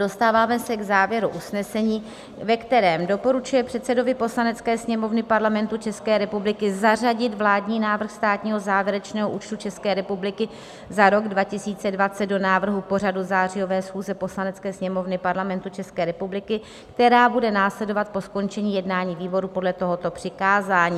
Dostáváme se k závěru usnesení, ve kterém doporučuje předsedovi Poslanecké sněmovny Parlamentu České republiky zařadit vládní návrh státního závěrečného účtu České republiky za rok 2020 do návrhu pořadu zářijové schůze Poslanecké sněmovny Parlamentu České republiky, která bude následovat po skončení jednání výboru podle tohoto přikázání.